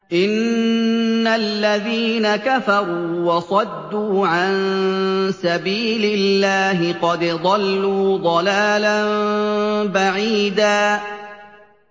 إِنَّ الَّذِينَ كَفَرُوا وَصَدُّوا عَن سَبِيلِ اللَّهِ قَدْ ضَلُّوا ضَلَالًا بَعِيدًا